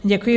Děkuji.